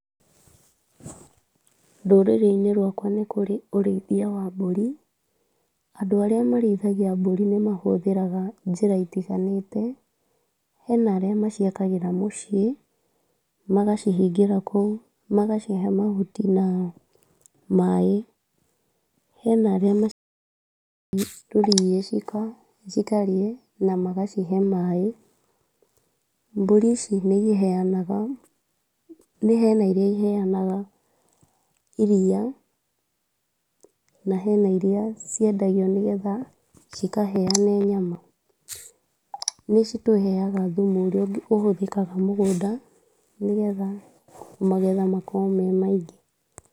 Rũrĩrĩ-inĩ rwakwa nĩ kũrĩ ũrĩithia wa mburi, andũ arĩa marĩithagia mburi, nĩ mahũthĩraga njĩra itiganĩte, hena arĩa maciakagĩra mũciĩ magacihingira kũu, magacihe mahuti na maaĩ, hena arĩa gĩcigo na magacihe maaĩ, mburi ici nĩ iheanaga, hena irĩa iheanaga iria na hena irĩa ciendagio, nĩgetha cikaheane nyama , nĩcitũheaga thumu ũrĩa ũhũthĩkaga mũgũnda, nĩgetha magetha makorwo me maingĩ.